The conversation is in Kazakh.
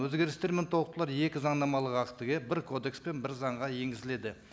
өзгерістер мен толықтырулар екі заңнамалық актіге бір кодекс пен бір заңға енгізіледі